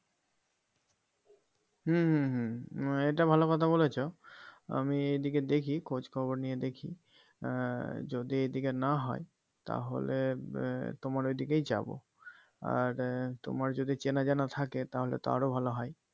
হম হম হম আহ এটা ভালো কথা বলেছো আমি এদিকে দেখি খোঁজ খবর নিয়ে দেখি আহ যদি এই দিকে না হয় তাহলে আহ তোমার ওইদিকেই যাবো আর তোমার যদি চেনা জানা থাকে তাহলে তো আরও ভালো হয়